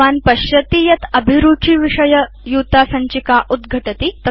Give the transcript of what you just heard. भवान् पश्यति यत् अभिरुचि विषय युतासञ्चिका उद्घटति